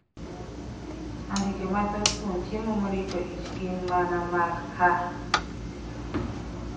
Andike mathoth kuom chiemo marito ich gin mana mag H.